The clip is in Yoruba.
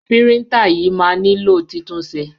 Píríńtà yìí máa nílò titúnṣe.